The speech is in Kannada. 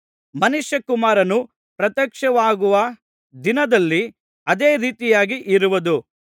ಮನುಷ್ಯಕುಮಾರನು ಪ್ರತ್ಯಕ್ಷವಾಗುವ ದಿನದಲ್ಲಿ ಅದೇ ರೀತಿಯಾಗಿ ಇರುವುದು